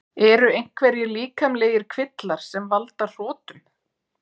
Eru einhverjir líkamlegir kvillar sem valda hrotum?